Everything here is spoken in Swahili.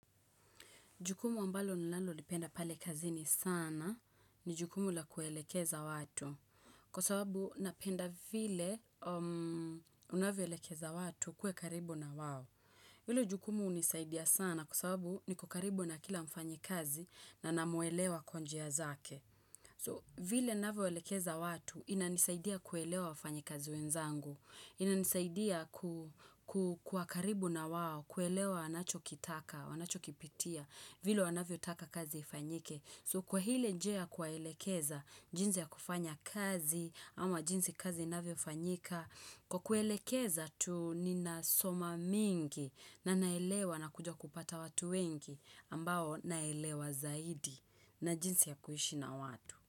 Jukumu ambalo nilalolipenda pale kazini sana ni jukumu la kuelekeza watu. Kwa sababu napenda vile unavyoelekeza watu ukue karibu na wao. Vile jukumu hunisaidia sana kwa sababu niko karibu na kila mfanyikazi na namwelewa kwa njia zake. So, vile ninavyoelekeza watu inanisaidia kuelewa wafanyikazi wenzangu. Inanisaidia kuwa karibu na wao, kuelewa anachokitaka, anachokipitia. Vile wanavyotaka kazi ifanyike So kwa ile njia ya kuwaelekeza jinsi ya kufanya kazi ama jinsi kazi inavyofanyika Kwa kuelekeza tu ninasoma mingi na naelewa na kuja kupata watu wengi ambao naelewa zaidi na jinsi ya kuishi na watu.